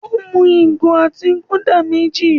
Ó mú ìgò otí Gúdà méjì.